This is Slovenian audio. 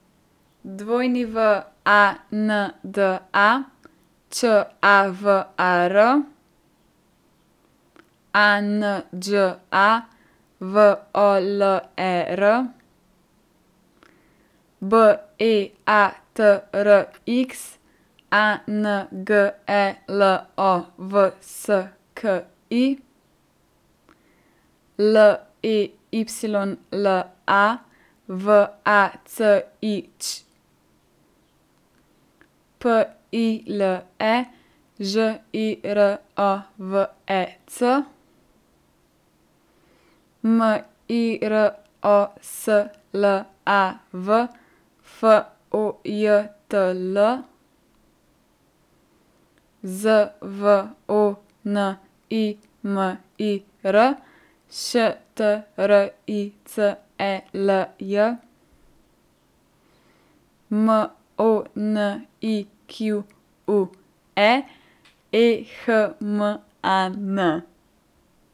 Wanda Čavar, Anđa Voler, Beatrix Angelovski, Leyla Vacić, Pile Žirovec, Miroslav Fojtl, Zvonimir Štricelj, Monique Ehman.